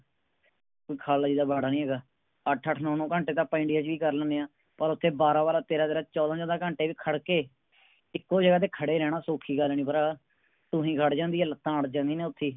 ਕੋਈ ਖਾਲਾ ਜੀ ਦਾ ਵਾੜਾ ਨਹੀਂ ਹੇਗਾ ਅੱਠ ਅੱਠ ਨੋ ਨੋ ਘੰਟੇ ਤਾ ਅੱਪਾ ਇੰਡੀਆ ਚ ਵੀ ਕਰ ਲੈਂਨੇ ਆ ਨਾ ਪਰ ਓਥੇ ਬਾਰਾਹ ਬਾਰਾਹ ਤੇਰ੍ਹ ਤੇਰ੍ਹ ਚੌਦਹ ਚੌਦਹ ਘੰਟੇ ਵੀ ਖੜ੍ਹ ਕੇ ਏਕੋ ਜਗਾਹ ਤੇ ਖੜੇ ਰਹਿਣਾ ਸੋਖੀ ਗੱਲ ਨਹੀਂ ਭਰਾ ਢੂਹੀ ਗੜ੍ਹ ਜਾਂਦੀਆਂ ਨੇ ਲੱਤਾਂ ਅੜ੍ਹ ਜਾਂਦੀਆਂ ਨੇ ਓਥੇ